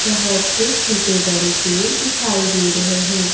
बहुत से छोटे बड़े पेड़ दिखाई दे रहे हैं।